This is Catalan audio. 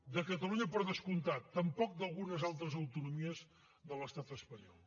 de catalunya per descomptat tampoc d’algunes altres autonomies de l’estat espanyol